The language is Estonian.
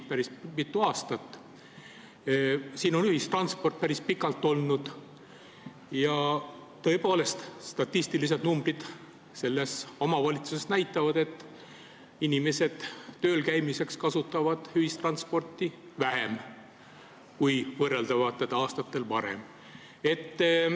Tallinnas on ühistransport päris pikalt olnud, ja tõepoolest, statistilised numbrid näitavad, et inimesed kasutavad tööl käimiseks ühistransporti vähem kui võrreldavatel aastatel varem.